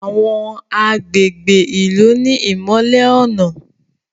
Àwọn agbègbè ilú ní imọlẹ ọnà